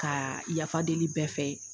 Ka yafa deli bɛɛ fɛ